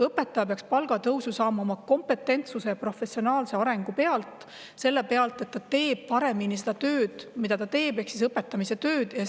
Õpetaja palk peaks tõusma tema kompetentsuse ja professionaalse arengu tõttu, selle tõttu, et ta teeb oma tööd ehk õpetamise tööd paremini.